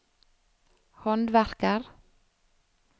håndverker